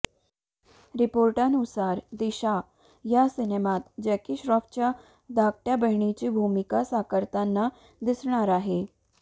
रिपोर्टनुसार दिशा या सिनेमात जॅकी श्रॉफच्या धाकट्या बहिणीची भूमिका साकारताना दिसणार आहे